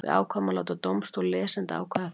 Við ákváðum að láta dómstól lesenda ákveða það.